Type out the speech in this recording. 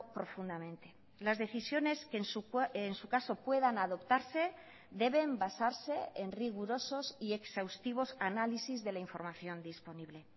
profundamente las decisiones que en su caso puedan adoptarse deben basarse en rigurosos y exhaustivos análisis de la información disponible